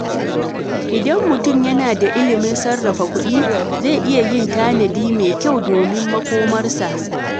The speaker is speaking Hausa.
Idan mutum yana da ilimin sarrafa kuɗi, zai iya yin tanadi mai kyau domin makomarsa.